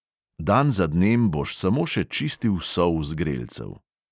Dan za dnem boš samo še čistil sol z grelcev.